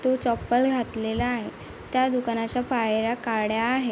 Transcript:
तो चप्पल घातलेला आहे त्या दुकानाच्या पायऱ्या काळ्या आहेत.